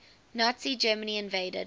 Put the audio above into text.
nazi germany invaded